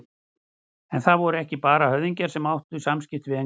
En það voru ekki bara höfðingjarnir sem áttu samskipti við Englendinga.